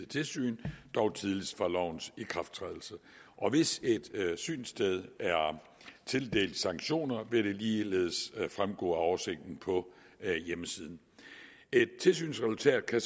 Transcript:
tilsyn dog tidligst fra lovens ikrafttrædelse hvis et synssted er tildelt sanktioner vil det ligeledes fremgå af oversigten på hjemmesiden et tilsynsresultat kan